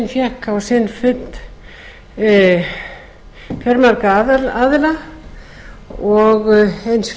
fékk á sinn fund fjölmarga aðila og eins